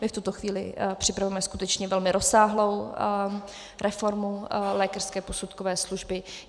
My v tuto chvíli připravujeme skutečně velmi rozsáhlou reformu lékařské posudkové služby.